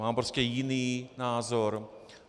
Mám prostě jiný názor.